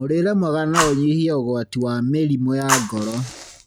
Mũrĩire mwega no ũnyihie ũgwati wa mĩrĩmũ ya ngoro.